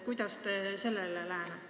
Kuidas te sellele lähenete?